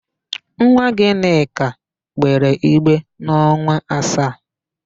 Nwa Gịnịka gbere igbe n'ọnwa asaa.